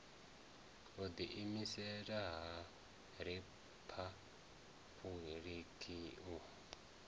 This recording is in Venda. u ḓiimisela ha riphabuliki u